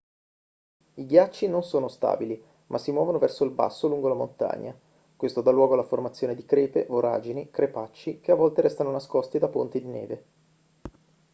i ghiacciai non sono stabili ma si muovono verso il basso lungo la montagna questo dà luogo alla formazione di crepe voragini crepacci che a volte restano nascosti da ponti di neve